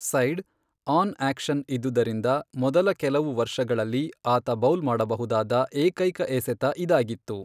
Side, on action ಇದ್ದುದರಿಂದ, ಮೊದಲ ಕೆಲವು ವರ್ಷಗಳಲ್ಲಿ, ಆತ ಬೌಲ್ ಮಾಡಬಹುದಾದ ಏಕೈಕ ಎಸೆತ ಇದಾಗಿತ್ತು.